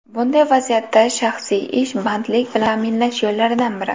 Bunday vaziyatda shaxsiy ish bandlik bilan ta’minlash yo‘llaridan biri.